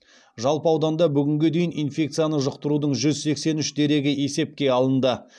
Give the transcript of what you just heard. жалпы ауданда бүгінге дейін инфекцияны жұқтырудың жүз сексен үш дерегі есепке алынды